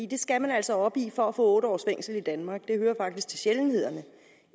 det skal man altså op i for at få otte års fængsel i danmark det hører faktisk til sjældenhederne